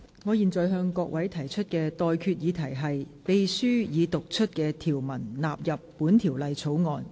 我現在向各位提出的待決議題是：秘書已讀出的條文納入本條例草案。